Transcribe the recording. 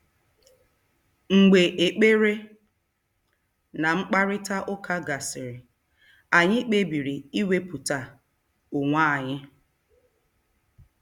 Mgbe ekpere na mkparịta ụka gasịrị, anyị kpebiri iwepụta onwe anyị.